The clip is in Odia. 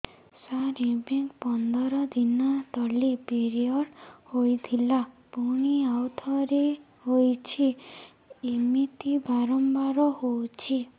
ସାର ଏବେ ପନ୍ଦର ଦିନ ତଳେ ପିରିଅଡ଼ ହୋଇଥିଲା ପୁଣି ଆଉଥରେ ହୋଇଛି ଏମିତି ବାରମ୍ବାର ହଉଛି